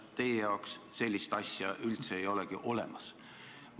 Teie jaoks ei ole sellist asja üldse olemas.